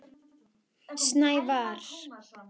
Snævarr, hvenær kemur vagn númer fjörutíu og þrjú?